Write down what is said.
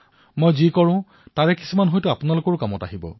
যি মই কৰো সেয়া সম্ভৱতঃ আপোনালোকৰো কামত আহিব পাৰে